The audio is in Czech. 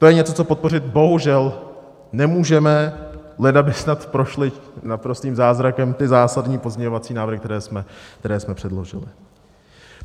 To je něco, co podpořit bohužel nemůžeme, leda by snad prošly naprostým zázrakem ty zásadní pozměňovací návrhy, které jsme předložili.